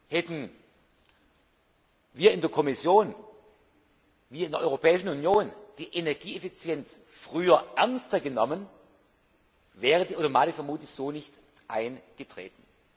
Hätten wir in der Kommission, wir in der Europäischen Union die Energieeffizienz früher ernster genommen, wäre die Automatik vermutlich so nicht eingetreten.